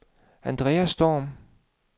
Andreas Storm